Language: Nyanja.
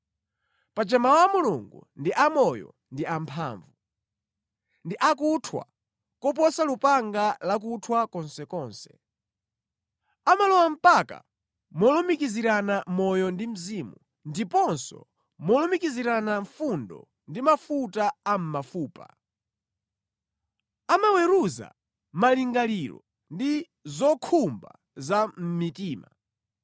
Paja Mawu a Mulungu ndi amoyo ndi amphamvu. Ndi akuthwa koposa lupanga lakuthwa konsekonse. Amalowa mpaka molumikizirana moyo ndi mzimu, ndiponso molumikizirana fundo ndi mafuta a mʼmafupa. Amaweruza malingaliro ndi zokhumba za mʼmitima.